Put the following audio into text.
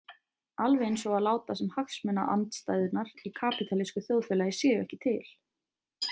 Alveg eins og að láta sem hagsmunaandstæðurnar í kapítalísku þjóðfélagi séu ekki til.